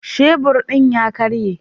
Shebur din ya karye.